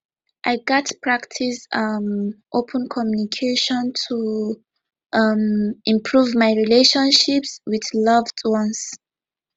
i gats practice um open communication to um improve my relationships with loved ones